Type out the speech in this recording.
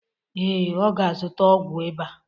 Ee, ọ ga-azụta ọgwụ ịba.